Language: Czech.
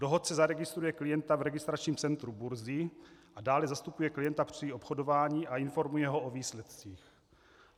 Dohodce zaregistruje klienta v registračním centru burzy a dále zastupuje klienta při obchodování a informuje ho o výsledcích.